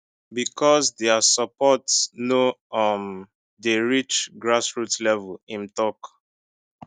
becos dia support no um dey reach grassroots level im tok